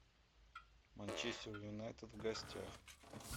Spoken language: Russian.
манчестер юнайтед в гостях